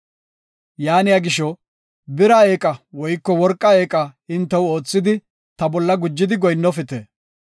Yaaniya gisho, bira eeqa woyko worqa eeqa hintew oothidi ta bolla gujidi goyinnofite.